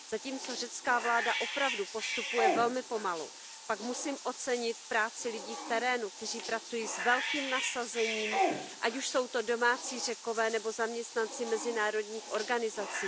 Zatímco řecká vláda opravdu postupuje velmi pomalu, pak musím ocenit práci lidí v terénu, kteří pracují s velkým nasazením, ať už jsou to domácí Řekové nebo zaměstnanci mezinárodních organizací.